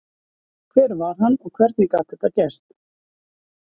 Hver var hann og hvernig gat þetta gerst?